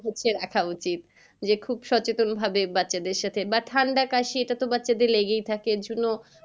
রাখা উচিত যে খুব সচেতন ভাবে বাচ্চাদের সাথে বা ঠান্ডা কাশি এটা তো বাচ্চাদের লেগেই থাকে এর জন্য,